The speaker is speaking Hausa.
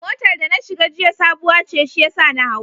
Motar da na shiga jiya sabuwa ce shiyasa na hau.